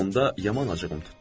Onda yaman acığım tutdu.